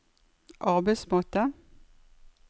arbeidsmåte